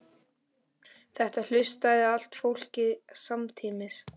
Þetta hlustaði allt fólkið á samtímis.